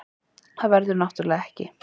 Það verður náttúrulega ekki